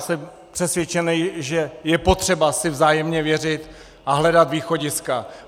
Jsem přesvědčen, že je potřeba si vzájemně věřit a hledat východiska.